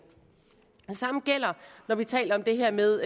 det samme gælder når vi taler om det her med